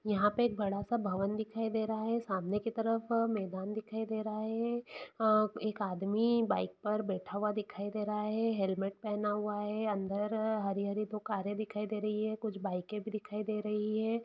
यहाँ पे एक बड़ा-सा भवन दिखाई दे रहा है सामने के तरफ मैदान दिखाई दे रहा है अ एक आदमी बाइक पर बैठा हुआ दिखाई दे रहा है हेलमेट पेहना हुआ है अंदर हरी-हरी दो कारे दिखाई दे रही है कुछ बाइके भी दिखाई दे रही है।